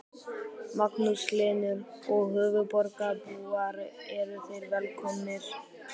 Magnús Hlynur: Og höfuðborgarbúar eru þeir velkomnir?